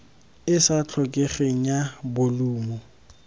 e sa tlhokegeng ya bolumo